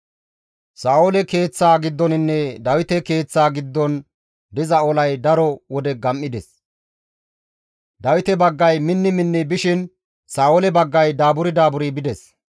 Sa7oole keeththaa giddoninne Dawite keeththaa giddon diza olay daro wode gam7ides; Dawite baggay minni minni bishin Sa7oole baggay daaburi daaburi bides.